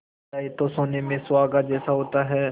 जाए तो सोने में सुहागा जैसा होता है